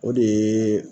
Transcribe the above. O de ye